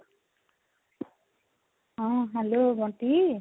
ହଁ hello ବଣ୍ଟି